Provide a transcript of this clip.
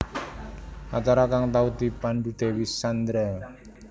Acara kang tau dipandhu Dewi Sandra